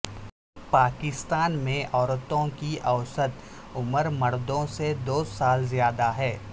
پاکستان میں عورتوں کی اوسط عمر مردوں سے دو سال زیادہ ہے